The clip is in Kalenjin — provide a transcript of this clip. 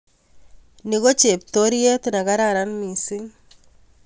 Ni ko cheptoriet ne kararan mising